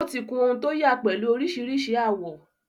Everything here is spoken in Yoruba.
Ó ti kun ohun to yà pẹ̀lú oríṣiríṣi àwọ.